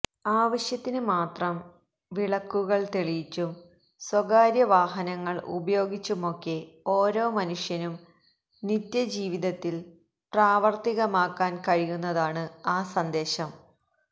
ആവശ്യത്തിന് മാത്രം വിളക്കുകള് തെളിയിച്ചും സ്വകാര്യ വാഹനങ്ങള് ഉപയോഗിച്ചുമൊക്കെ ഓരോ മനുഷ്യനും നിത്യജീവിതത്തില് പ്രാവര്ത്തികമാക്കാന് കഴിയുന്നതാണ് ആ സന്ദേശം